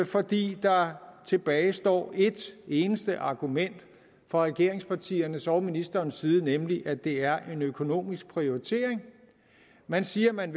fordi der tilbage står et eneste argument fra regeringspartiernes og ministerens side nemlig at det er en økonomisk prioritering man siger man